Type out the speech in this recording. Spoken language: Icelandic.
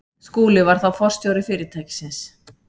Skúli var þá forstjóri fyrirtækisins.